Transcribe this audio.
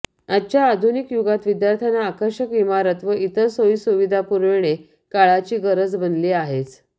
आजच्या आधुनिक युगात विद्यार्थ्यांना आकर्षक इमारत व इतर सोयी सुविधा पुरविणे काळाची गरज बनली आहेच